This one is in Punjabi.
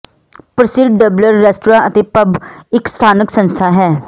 ਪ੍ਰਸਿੱਧ ਡਬਲਰ ਰੈਸਟਰਾਂ ਅਤੇ ਪਬ ਇਕ ਸਥਾਨਕ ਸੰਸਥਾ ਹੈ